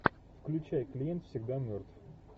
включай клиент всегда мертв